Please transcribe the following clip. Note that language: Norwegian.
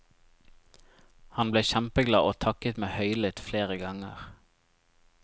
Han ble kjempeglad og takket meg høylytt flere ganger.